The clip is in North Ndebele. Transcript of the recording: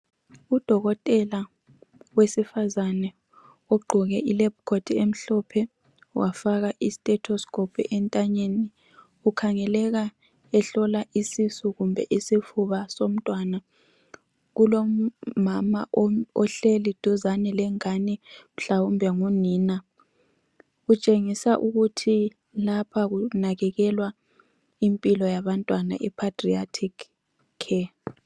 Udokotela wesifazane ogqoke ilab coat emhlophe wafaka istetoscope entanyeni ukhangeleka ehlola isisu kumbe isifuba somntwana. Kulomama ohleli duzane lengane mhlawumbe ngunina. Kutshengisa ukuthi lapha kunakekelwa impilo yabantwana epaedriatic care.